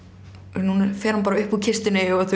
núna fer hann bara upp úr kistunni og